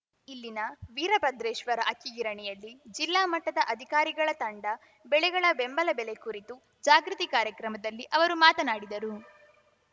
ಇಲ್ಲಿನ ವೀರಭದ್ರೇಶ್ವರ ಅಕ್ಕಿಗಿರಣಿಯಲ್ಲಿ ಜಿಲ್ಲಾ ಮಟ್ಟದ ಅಧಿಕಾರಿಗಳ ತಂಡ ಬೆಳೆಗಳ ಬೆಂಬಲ ಬೆಲೆ ಕುರಿತು ಜಾಗೃತಿ ಕಾರ್ಯಕ್ರಮದಲ್ಲಿ ಅವರು ಮಾತನಾಡಿದರು